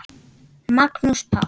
Magnús Páll.